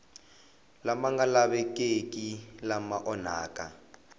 lama nga lavekeki lama onhaka